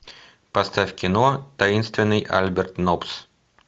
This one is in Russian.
поставь кино таинственный альберт нопс